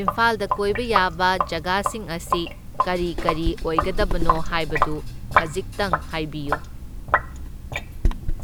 ꯏꯝꯐꯥꯜꯗ ꯀꯣꯏꯕ ꯌꯥꯕ ꯖꯒꯥꯁꯤꯡ ꯑꯁꯤ ꯀꯔꯤ ꯀꯔꯤ ꯑꯣꯏꯒꯗꯕꯅꯣ ꯍꯥꯢꯕꯗꯨ ꯈꯖꯤꯛꯇꯪ ꯍꯥꯏꯕꯤꯌꯨ꯫